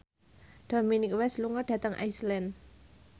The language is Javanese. Dominic West lunga dhateng Iceland